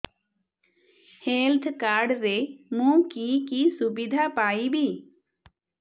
health card ରେ ମୁଁ କି କି ସୁବିଧା ପାଇବି